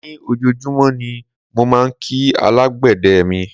Ní ojoojúmọ́ ni mo máà ń kí alábàgbé mi.